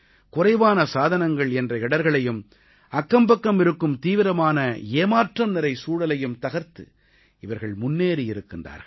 குறைவான சாதனங்கள் என்ற இடர்களையும் அக்கம்பக்கம் இருக்கும் தீவிரமான ஏமாற்றம்நிறை சூழலையும் தகர்த்து இவர்கள் முன்னேறி இருக்கிறார்கள்